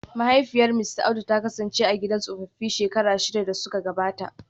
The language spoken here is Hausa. Mahaifiyar Mista Audu ta kasance a gidan tsofaffi shekaru shida da suka gabata